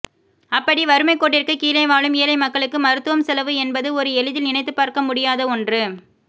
அப்படி வறுமை கோட்டிற்கு கீழே வாழும் ஏழை மக்களுக்கு மருத்துவம் செலவு என்பது ஒரு எளிதில் நினைத்துப்பார்க்க முடியாத ஒன்று